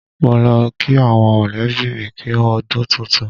Mo lọ kí àwọn mọ̀lẹ́bí mi kú u ọdún tuntun.